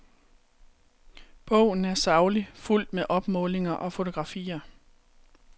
Bogen er saglig, fuldt med opmålinger og fotografier.